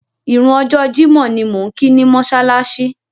Ìrun ọjọ́ Jímọ̀ ni mò ń kí ni mọ́ṣáláṣí.